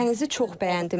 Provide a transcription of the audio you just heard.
Ölkənizi çox bəyəndim.